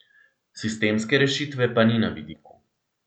Sistemske rešitve pa ni na vidiku.